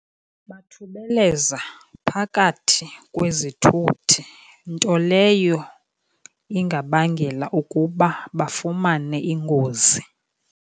Bathubeleza phakathi kwezithuthi, nto leyo ingabangela ukuba bafumane ingozi.